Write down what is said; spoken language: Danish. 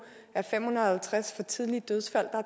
er fem hundrede og halvtreds for tidlige dødsfald og